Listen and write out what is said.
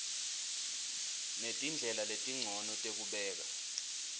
netindlela letincono tekubeka